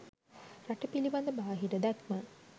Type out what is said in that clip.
රට පිළිබඳ බාහිර දැක්ම